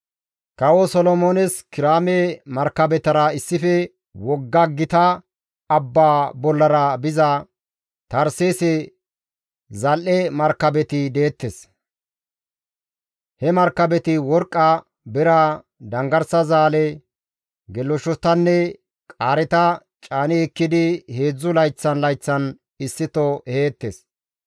Kawo Solomoones Kiraame markabetara issife wogga gita abba bollara biza Tarseese zal7e markabeti deettes; he markabeti worqqa, bira, danggarsa zaale, geleshshotanne qaareta caani ekkidi heedzdzu layththan layththan issito eheettes.